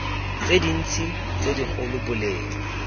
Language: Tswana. tse dintsi tse dikgolo boleng